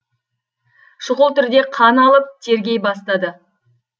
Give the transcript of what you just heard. шұғыл түрде қан алып тергей бастады